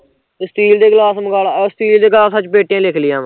steel ਦੇ glass ਮਗਾਲਾਂ, steel ਦੇ ਗਲਾਸ ਚੱਲ ਪੇਟੀਆਂ ਵੀ ਲਿਖਲੀਆਂ ਵਾਂ